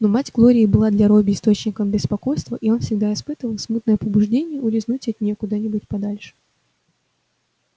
но мать глории была для робби источником беспокойства и он всегда испытывал смутное побуждение улизнуть от неё куда-нибудь подальше